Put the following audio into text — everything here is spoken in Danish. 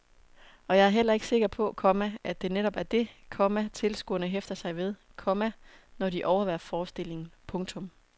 Og jeg er heller ikke sikker på, komma at det netop er det, komma tilskuerne hæfter sig ved, komma når de overværer forestillingen. punktum